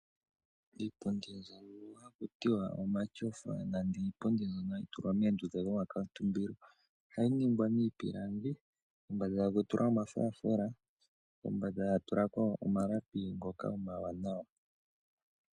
Iipundi mbyono haku tiwa omatyofa nenge iipundi mbyono hayi tulwa moondunda dhomakaatumbilo ohayi ningwa miipilangi, kombanda etaku tulwa omafulafula kombanda etaku tulwa omalapi ngoka omawanawa.